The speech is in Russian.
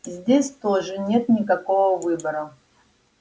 здесь тоже нет никакого выбора